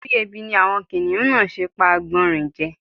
Torí ebi ni àwọn kìnìhún náà ṣe pa àgbọ̀nrín je.